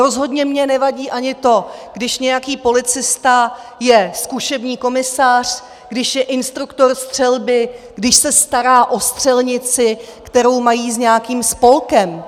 Rozhodně mi nevadí ani to, když nějaký policista je zkušební komisař, když je instruktor střelby, když se stará o střelnici, kterou mají s nějakým spolkem.